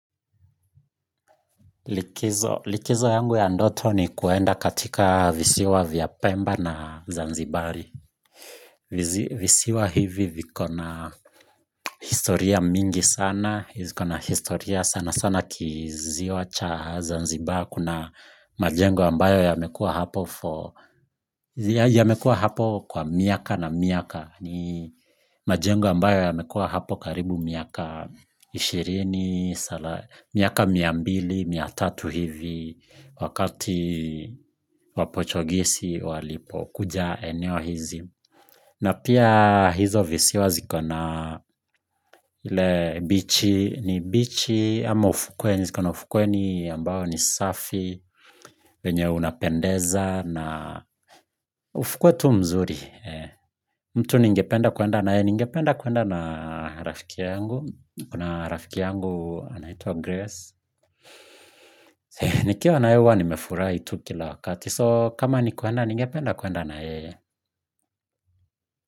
Likizo, likizo yangu ya ndoto ni kuenda katika visiwa vya pemba na zanzibari. Visiwa hivi viko na historia mingi sana, viko na historia sana sana kiziwa cha zanzibar kuna majengo ambayo yamekua hapo for, yamekua hapo kwa miaka na miaka ni majengo ambayo yamekua hapo karibu miaka ishirini, miaka mia mbili, mia tatu hivi wakati wapochogisi walipokuja eneo hizi na pia hizo visiwa zikona ile bichi ni bichi ama ufukweni ziko na ufukweni ambao ni safi wenye unapendeza na ufukwe tu mzuri mtu ningependa kuenda na yeye ningependa kuenda na rafiki yangu kuna rafiki yangu anaitwa Grace. Nikiwa na yeye huwa nimefurahia tu kila wakati so kama ni kurnda ningependa kurnda na yeye.